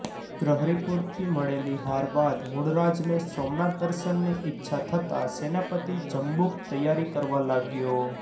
ગ્રહરિપુથી મળેલી હાર બાદ મૂળરાજને સોમનાથ દર્શનની ઈચ્છા થતા સેનાપતિ જંબુક તૈયારી કરવા લાગ્યો